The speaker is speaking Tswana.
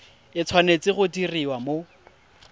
e tshwanetse go diriwa mo